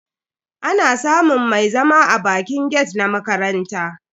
Ana samun mai zama a bakin gate na makaranta.